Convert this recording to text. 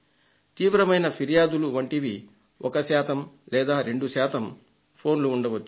తీవ్రమైన ఫిర్యాదుల వంటివి ఒక శాతం లేదా రెండు శాతం ఫోన్లు ఉండవచ్చు